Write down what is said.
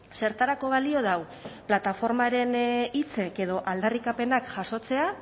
zertarako balio du plataformaren hitzak edo aldarrikapenak jasotzea